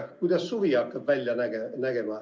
Kuidas suvi hakkab välja nägema?